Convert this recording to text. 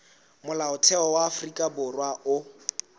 molaotheo wa afrika borwa o